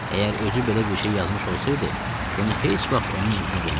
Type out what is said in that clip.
Əgər özü belə bir şey yazmış olsaydı, bunu heç vaxt onun üzünə vurmazdım.